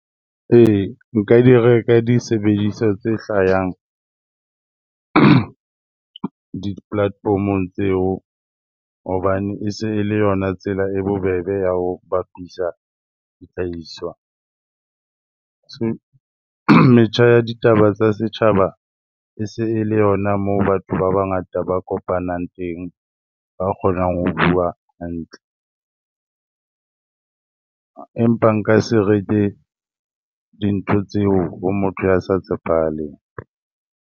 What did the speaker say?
Ee, nka di reka disebediswa tse hlayang di-platform-ong tseo hobane e se e le yona tsela e bobebe ya ho bapisa dihlahiswa. Metjha ya ditaba tsa setjhaba e se e le yona moo batho ba bangata ba kopanang teng, ba kgonang ho bua hantle. Empa nka se reke dintho tseo ho motho ya sa tshepahaleng.